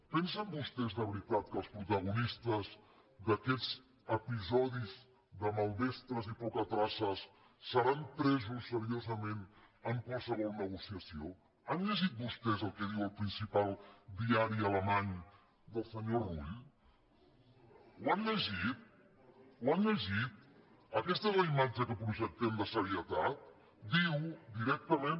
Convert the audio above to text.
pen·sen vostès de veritat que els protagonistes d’aquests episodis de maldestres i pocatraces seran presos se·riosament en qualsevol negociació han llegit vostès el que diu el principal diari alemany del senyor rull ho han llegit ta és la imatge que projectem de serietat diu direc·tament